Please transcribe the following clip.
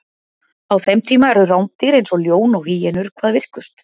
á þeim tíma eru rándýr eins og ljón og hýenur hvað virkust